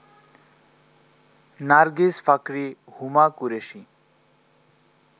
Nargis Fakhri, Huma Qureshi